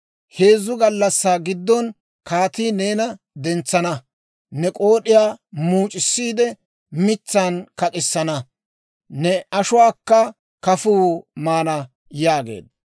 Heezzu gallassaa giddon kaatii neena dentsana; ne k'ood'iyaa muuc'issiide mitsaan kak'issana; ne ashuwaakka kafuu maana» yaageedda.